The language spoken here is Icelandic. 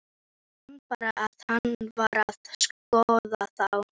Man bara að hann var að skoða þá.